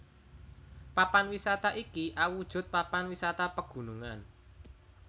Papan wisata iki awujud papan wisata pegunungan